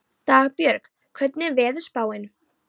Dagbjörg, hvernig er veðurspáin?